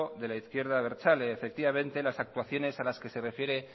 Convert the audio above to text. de la izquierda abertzale efectivamente las actuaciones a las que se refiere